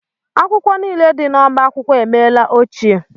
Akwụkwọ niile dị n'ọbá akwụkwọ emela ochie.